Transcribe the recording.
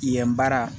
Yen baara